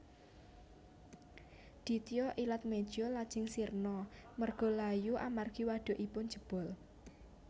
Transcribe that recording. Ditya Ilatmeja lajeng sirna margalayu amargi wadhukipun jebol